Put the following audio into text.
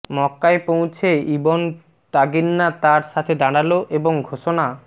মক্কায় পৌছে ইবন দাগিন্না তার সাথে দাঁড়াল এবং ঘোষণা